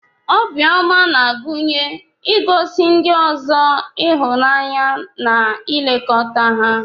Obiọma na-agụnye igosi ndị ọzọ ịhụnanya na ilekọta ha.